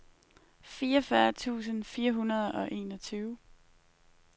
fireogfyrre tusind fire hundrede og enogtyve